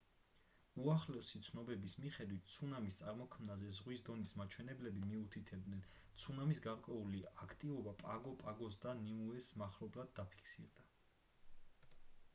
უახლესი ცნობების მიხედვით ცუნამის წარმოქმნაზე ზღვის დონის მაჩვენებლები მიუთითებდნენ ცუნამის გარკვეული აქტივობა პაგო პაგოს და ნიუეს მახლობლად დაფიქსირდა